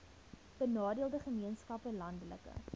benadeelde gemeenskappe landelike